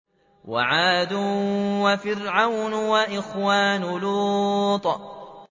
وَعَادٌ وَفِرْعَوْنُ وَإِخْوَانُ لُوطٍ